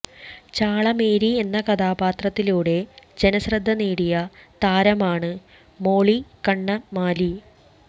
ചാളമേരി എന്ന കഥാപാത്രത്തിലൂടെ ജനശ്രദ്ധ നേടിയ താരമാണ് മോളി കണ്ണമാലി